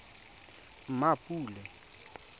mmapule